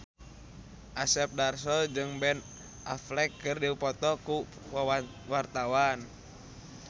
Asep Darso jeung Ben Affleck keur dipoto ku wartawan